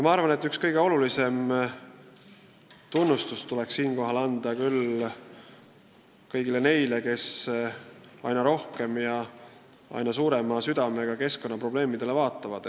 Ma arvan, et siinkohal tuleks meil väga tunnustada kõiki neid, kes aina rohkem ja aina suurema südamevaluga keskkonnaprobleemidele vaatavad.